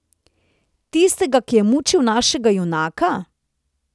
Tistega, ki je mučil našega junaka?